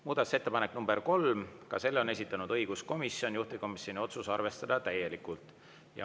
Muudatusettepanek nr 3, selle on esitanud õiguskomisjon, juhtivkomisjoni otsus: arvestada täielikult.